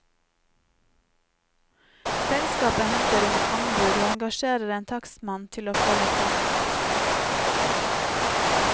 Selskapet henter inn anbud og engasjerer en takstmann til å følge saken.